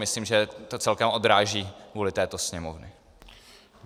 Myslím, že to celkem odráží vůli této Sněmovny.